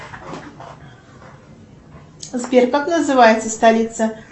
сбер как называется столица